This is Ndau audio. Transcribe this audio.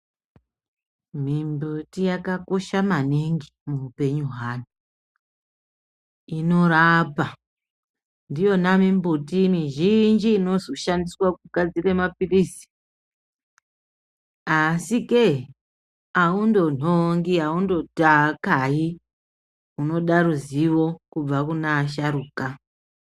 Mimbiti yakakosha maningi muupenyu hweantu inorapa. Ndiyona mimbiti mizhinji inoshandiswa kugadzire mapilizi asike awundo ngongi awundo kayi unoda ruzivo kubva kune asharukwa.